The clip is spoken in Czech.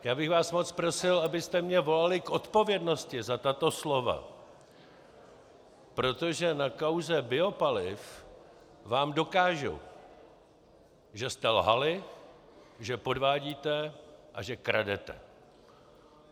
Já bych vás moc prosil, abyste mě volali k odpovědnosti za tato slova, protože na kauze biopaliv vám dokážu, že jste lhali, že podvádíte a že kradete.